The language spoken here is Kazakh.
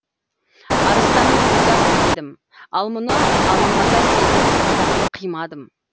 арыстанның өзі ақ едім ал мұны алаңғасар сезім саған қимадым